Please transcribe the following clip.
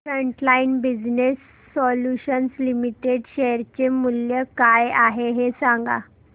frontline Business Solutions Limited share चे मूल्य काय आहे हे सांगा